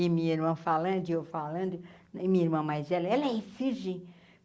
E minha irmã falando e eu falando, e minha irmã mais velha, ela é virgem.